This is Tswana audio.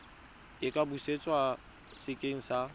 a ka busetswa sekeng sa